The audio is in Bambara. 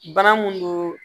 Bana mun don